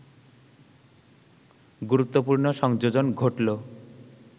গুরুত্বপূর্ণ সংযোজন ঘটল